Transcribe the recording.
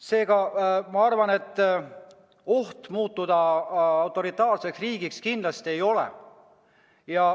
Seega ohtu muutuda autoritaarseks riigiks kindlasti ei ole.